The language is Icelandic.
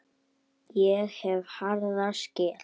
Ég hef harða skel.